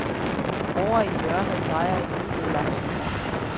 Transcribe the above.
Ovre i hjørnet drejer en uro langsomt rundt.